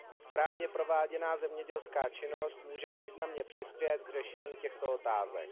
Správně prováděná zemědělská činnost může významně přispět k řešení těchto otázek.